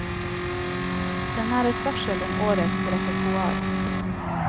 Den er et varsel om årets repertoar.